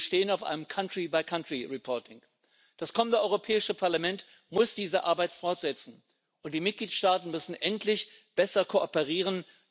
Wir bestehen auf einem country by country reporting Das kommende Europäische Parlament muss diese Arbeit fortsetzen, und die Mitgliedstaaten müssen endlich besser kooperieren.